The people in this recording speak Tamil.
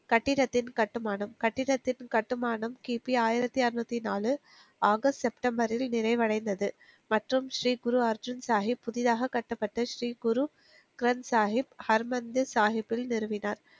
கட்டிடத்தின் கட்டுமானம் கட்டிடத்தின் கட்டுமானம் கிபி ஆயிரத்தி அறுநூத்தி நாலு ஆகஸ்ட் செப்டம்பரில் நிறைவடைந்தது மற்றும் ஸ்ரீ குரு அர்ஜுன் சாஹிப் புதிதாக கட்டப்பட்ட ஸ்ரீ குரு கரன் சாகிப் ஹர் மந்திர் சாகிப்பில் நிறுவினார்